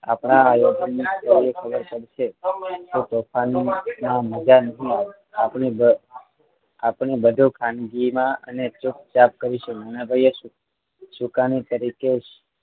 આપણા વિદ્યાર્થીને ખબર પડશે કે તોફાનમાં મજા નહીં આપણે આપણે બધુ ખાનગીમાં અને ચૂપચાપ કરીશું નાનાભાઈએ સુક સુકાની તરીકે